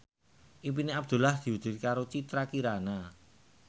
impine Abdullah diwujudke karo Citra Kirana